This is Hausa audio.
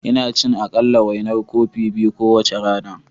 Ina ci aƙalla, wainar kofi biyu kowace rana.